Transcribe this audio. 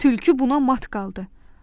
Tülkü buna mat qaldı.